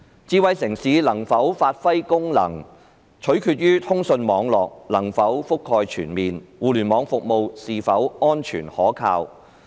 智慧城市能否有效發揮功能，取決於通訊網絡的覆蓋是否全面，以及互聯網服務是否安全可靠。